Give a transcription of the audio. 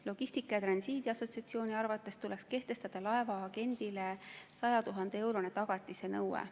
Logistika ja Transiidi Assotsiatsiooni arvates tuleks kehtestada laevaagendile 100 000-eurone tagatise nõue.